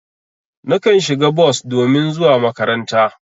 Nakan shiga bos domin zuwa makaranta.